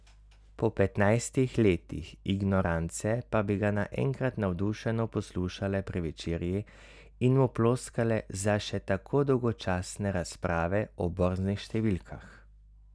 Po petnajstih letih ignorance pa bi ga naenkrat navdušeno poslušale pri večerji in mu ploskale za še tako dolgočasne razprave o borznih številkah.